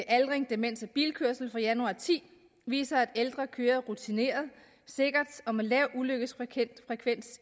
aldring demens og bilkørsel fra januar to og ti viser at ældre kører rutineret sikkert og med lav ulykkesfrekvens